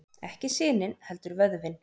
Ekki sinin heldur vöðvinn.